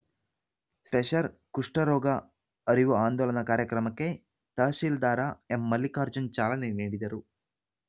ಸೆಷರ್ ಕುಷ್ಠರೋಗ ಅರಿವು ಅಂದೋಲನ ಕಾರ್ಯಕ್ರಮಕ್ಕೆ ತಹಶೀಲ್ದಾರ ಎಂಮಲ್ಲಿಕಾರ್ಜುನ್‌ ಚಾಲನೆ ನೀಡಿದರು